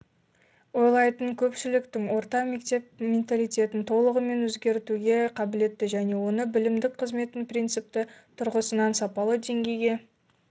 ойлайтын көпшіліктіңорта мектеп менталитетін толығымен өзгертуге қабілетті және оны білімдік қызметтің принципті тұрғысында сапалы деңгейге